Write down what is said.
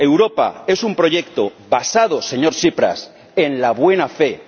Europa es un proyecto basado, señor Tsipras, en la buena fe.